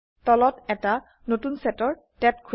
তলত এটা নতুন সেটৰ ট্যাব খোলে